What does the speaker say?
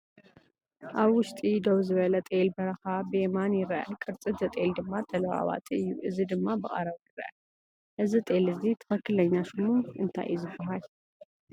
ኣብ ውሽጢ ደው ዝበለ ጤል በረኻ ብየማን ይርአ፣ ቅርጺ እቲ ጤል ድማ ተለዋዋጢ እዩ። እዚ ድማ ብቐረባ ይርአ። እዚ ጤል እዚ ትክኽለኛ ሽሙ እንታይ እዩ ዝበሃል?